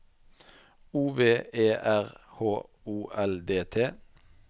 O V E R H O L D T